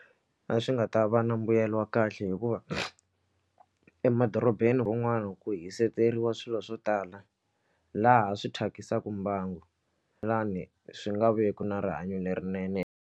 A swi nga ta va na mbuyelo wa kahle hikuva emadorobeni rin'wani ku hisekeriwa swilo swo tala laha swi thyakisaka mbangu swi nga veki na rihanyo lerinene.